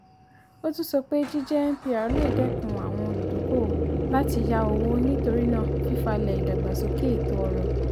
ó tún sọ pé jíjẹ mpr lè dẹ́kun àwọn olùdókòòwò láti yá owó nítorí náà fífalẹ̀ ìdàgbàsókè ètò ọrọ̀.